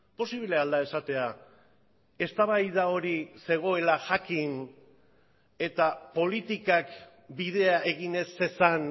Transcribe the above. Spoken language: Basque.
posible al da esatea eztabaida hori zegoela jakin eta politikak bidea egin ez zezan